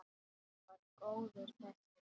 Hann var góður þessi!